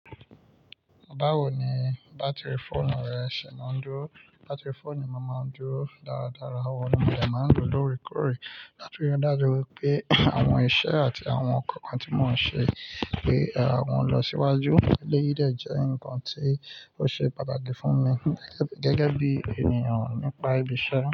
Báwo ni bátìrì fóònù rẹ ṣe máa ń dúró, bátìrì fóònù mi máa ń dúró dáradára, ohun ni mo dẹ́ máa ń lo lóòrèkóòrè, latiri dájú wipé àwọn iṣẹ́ àti àwọn nkankan tí mò ń ṣe pé wọn lọ síwájú. Eléyìí dẹ́ jẹ́ ǹkan tí ó ṣe pàtàkì fún mi gẹ́gẹ́ bí ènìyàn nípa ibiṣẹ́